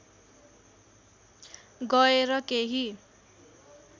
गएर केही